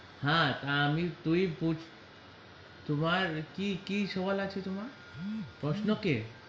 হ্যা হ্যা আমি তুই তুই কি কি সোনার আছে তোমার .